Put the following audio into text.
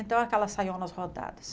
Então, aquelas saionas rodadas.